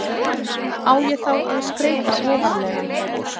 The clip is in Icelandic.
Á ég þá að skreyta ofarlega?